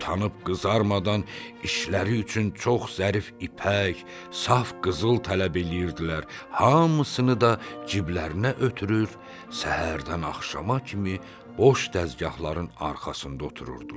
Utanıb qızarmadan işləri üçün çox zərif ipək, saf qızıl tələb eləyirdilər, hamısını da ciblərinə ötürür, səhərdən axşama kimi boş dəzgahların arxasında otururdular.